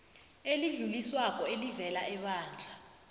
elidluliswako elivela ebandla